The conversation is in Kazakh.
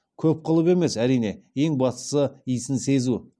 көп қылып емес әрине ең бастысы иісін сезу